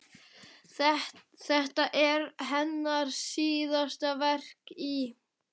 Þetta er hennar síðasta verk í